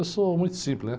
Eu sou muito simples, né?